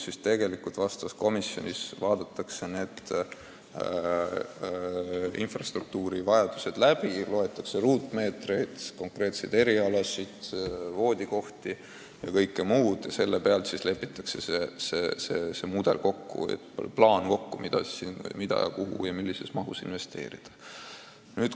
Asjaomases komisjonis vaadatakse konkreetse infrastruktuuri vajadused läbi, loetakse kokku ruutmeetrid, konkreetsed erialad, voodikohad ja kõik muu ning sellest lähtudes lepitakse kokku plaan, kuhu ja millises mahus investeerida.